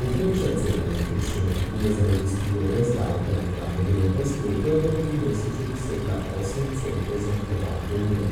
Povprečna cena električne energije za industrijo brez davka na dodano vrednost je v prvem trimesečju dosegla osem centov za kilovatno uro,